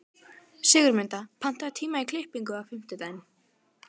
Sigurmunda, pantaðu tíma í klippingu á fimmtudaginn.